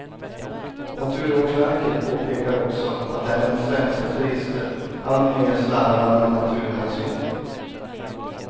Naturvårdsverket påpekar också att även svenska turister alltmer slarvar med naturhänsyn.